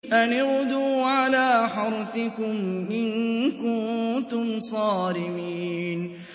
أَنِ اغْدُوا عَلَىٰ حَرْثِكُمْ إِن كُنتُمْ صَارِمِينَ